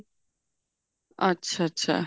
ਅੱਛਾ ਅੱਛਾ